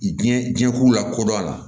Diɲɛ diɲɛ k'u lakodɔn a la